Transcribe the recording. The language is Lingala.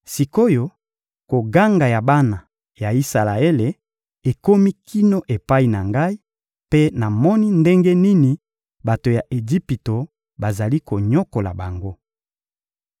Sik’oyo, koganga ya bana ya Isalaele ekomi kino epai na Ngai mpe namoni ndenge nini bato ya Ejipito bazali konyokola bango.